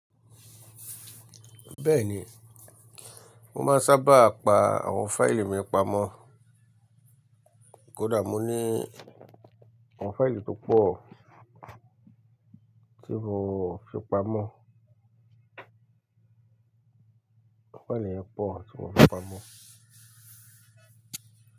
Bẹ́ẹ̀ni, mo máa ń sábà pa àwọn fáìlì mi pamọ́. Kódà mo ní àwọn fáìlì tó pọ̀ tí mo fi pamọ́. Àwọn fáìlì pọ̀ tí mo fi pamọ́